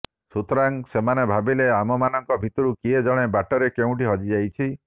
ସୁତରାଂ ସେମାନେ ଭାବିଲେ ଆମମାନଙ୍କ ଭିତରୁ କିଏ ଜଣେ ବାଟରେ କେଉଁଠି ହଜିଯାଇଛି